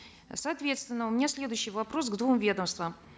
соответственно у меня следующий вопрос к двум ведомствам